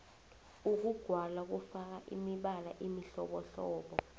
ukugwala kufaka imibala emihlobohlobo